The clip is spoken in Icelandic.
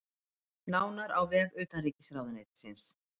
Nánar á vef utanríkisráðuneytisins